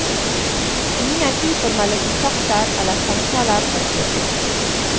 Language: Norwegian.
Ingen uformelle kontakter eller samtaler var ført.